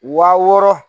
Wa wɔɔrɔ